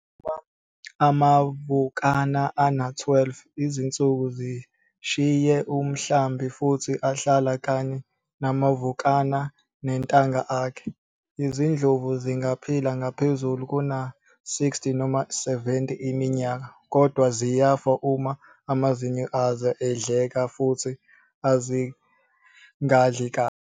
Uma amavukana ane-12 izinsuku zishiye umhlambi futhi ahlala kanye namavukana nentanga akhe. Izindlovu zingaphila ngaphezu kuna-60 noma 70 iminyaka kodwa ziyafa uma amazinyo azo edleka futhi azingadli kahle.